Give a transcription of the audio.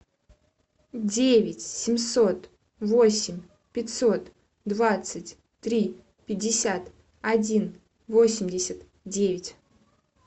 девять семьсот восемь пятьсот двадцать три пятьдесят один восемьдесят девять